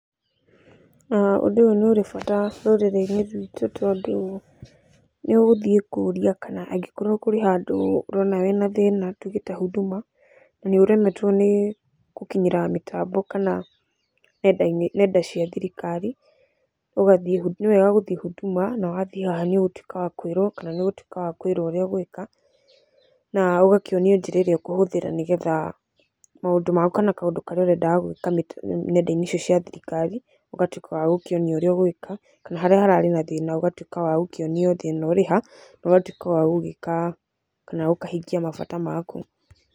Ũndũ ũyũ nĩ ũrĩ bata rũrĩrĩ-inĩ rwitũ tondũ nĩ ũgũthiĩ kũrĩa kana angĩkorwo kũrĩ handũ ũrona wĩna thĩna tuge ta Huduma, na nĩ ũremetwo nĩ gũkinyĩra mĩtambo kana ng'enda cia thirikari, nĩwega gũthiĩ uduma na wathiĩ haha nĩ ũgũtuĩka wa kwĩrwo ũrĩa ũgwĩka, na ũgakĩonio njĩra ĩrĩa ũkũhũthĩra nĩ getha maũndũ maku kana kaũndũ karĩa ũrendaga gwĩka ng'enda-inĩ icio cia thirikari, ũgatuĩka wa gũkĩonio ũrĩa ũgwĩka kana harĩa hararĩ na thĩna ũgatuĩka wa gũkĩonio thĩna ũrĩ ha, na ũgagĩtuĩka wa gũgĩka kana wa kũhingia mabata maku